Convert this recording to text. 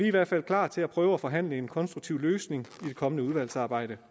i hvert fald klar til at prøve at forhandle en konstruktiv løsning i det kommende udvalgsarbejde